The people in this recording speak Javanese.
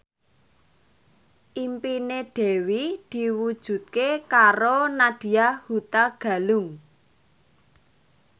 impine Dewi diwujudke karo Nadya Hutagalung